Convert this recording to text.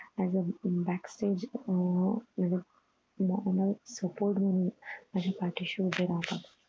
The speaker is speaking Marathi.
AS A back stage अह माझं अह support म्हणून माझ्या पाठीशी उभे राहतात.